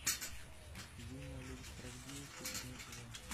юная лига справедливости седьмой сезон